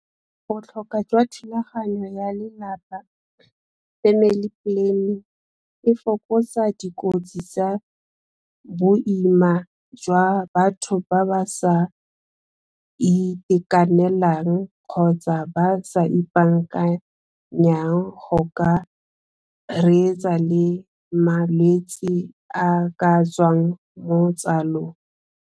Botlhokwa jwa thulaganyo ya lelapa family planning e fokotsa dikotsi tsa boima jwa batho ba ba sa itekanelang kgotsa ba sa ipaakanyang go ka reetsa le malwetsi a ka tswang mo tsalong.